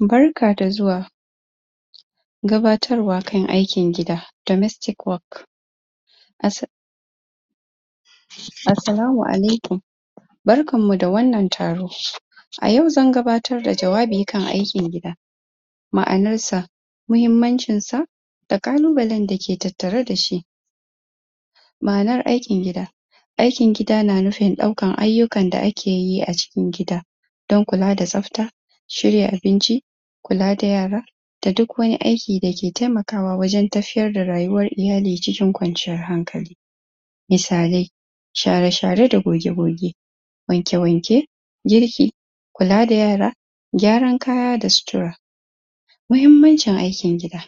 Barka da zuwa gabatarwa kan aikin gida, [domestic work] assa Assalamu'alaikum barkan mu da wannan taro a yau zan gabatar da jawabi akan aikin gida ma'anar sa muhimmancin sa da kalubale da ke tattare da shi ma'anar aikin gida aikin gida na nufin ɗaukar ayyukan da akeyi a cikin gida dan kula da safta shirya abinci kula da yara da duk wani aiki dake taimakawa wajan tafiyar da rayuwan iyali cikin kwanciyar hankali misallai share-share da goge-goge wanke-wanke girki kula da yara gyaran kaya da sutura muhimmancin aikin gida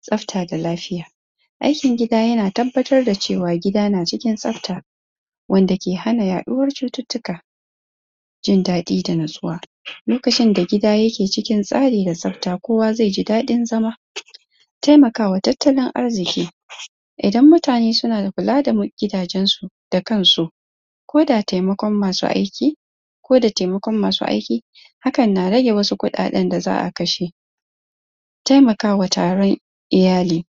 safta da lafiya aikin gida yana tabbatar da cewa gida na cikin tsafta wanda ke hana yaɗuwar cuttutuka jindaɗi da natsuwa lokacin da gida yake cikin tsari da tsafta kowa ze ji daɗin zama taimakawa talttalin arziki idan mutane suna da kula da gidajen su da kan su ko da taimakon masu aiki ko da taimakon masu aiki hakkan na rage wasu kuɗaɗen da za'a kashe taimakawa taran iyali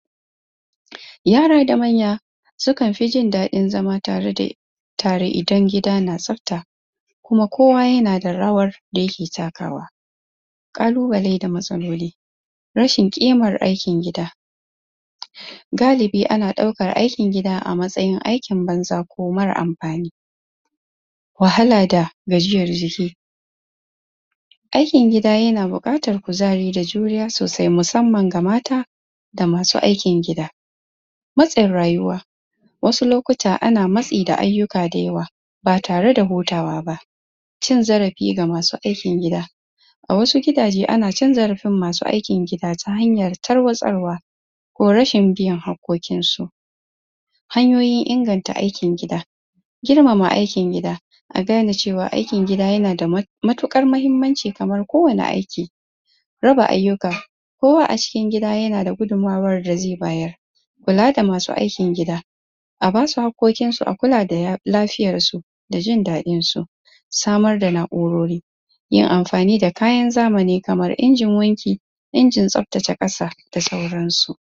yara da manya sukan fi jinɗaɗi zama tare da tare idan gida na tsafta kuma kowa yana da rawar da yake takawa kalubale da matsaloli rashin kimmar aikin gida galibi ana ɗaukar aikin gida a matsayin aikin banza ko mara amfani wahala da gajiyar jiki aikin gida yana buƙatar kuzari da juriya sosai musamman ga mata da masu aikin gida matsin rayuwa wasu lokuta ana matsi da ayyuka dayawa ba tare da hutawa ba cin zarafi ga masu aikin gida a wasu gidaje ana canja rabin masu aikin gida ta hanyar tarwatsarwa ko rashin bin harkokin su hanyoyin inganta aikin gida girmama aikin gida a gane cewa aikin gida yana da mutukar mahimmanci kamar kowani aiki raba ayyuka kowa acikin gida yana da gudunmuwar da ze bayar kula da masu aikin gida a basu hakkokinsu, a kula da lafiyarsu da jin dadin su samar da naurori yin amfani da kayan zamani kamar injin wanki injin tsaftace ƙasa da sauransu.